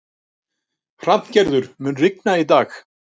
Hrafngerður, mun rigna í dag?